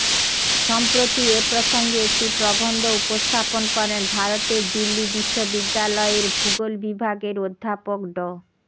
সম্প্রতি এ প্রসঙ্গে একটি প্রবন্ধ উপস্থাপন করেন ভারতের দিল্লি বিশ্ববিদ্যালয়ের ভূগোল বিভাগের অধ্যাপক ড